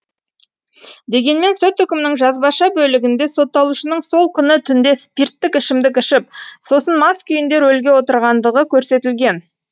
дегенмен сот үкімінің жазбаша бөлігінде сотталушының сол күні түнде спирттік ішімдік ішіп сосын мас күйінде рөлге отырғандығы көрсетілген